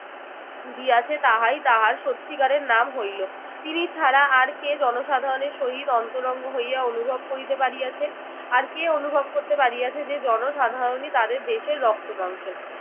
দিয়াছে তাহাই তাহার সত্যিকারের নাম হইল। তিনি ছাড়া আর কে জনসাধারণের সহিত অন্তরঙ্গ হইয়া অনুভব করিতে পারিয়াছেন? আর কে অনুভব করিতে পারিয়াছে যে জনসাধারণই তাদের দেশের রক্ত মাংস?